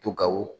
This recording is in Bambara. To ka o